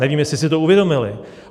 Nevím, jestli si to uvědomili.